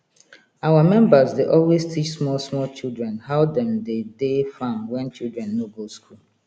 our members dey always teach small small children how dem dey dey farm when children no go school